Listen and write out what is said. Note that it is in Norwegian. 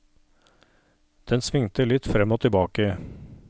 Den svingte litt frem og tilbake.